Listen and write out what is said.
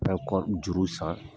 N bɛ kɔri juru san